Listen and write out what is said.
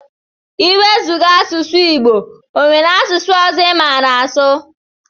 Iwezuga asụsụ igbo onwere asụsụ ọzọ imara asụ?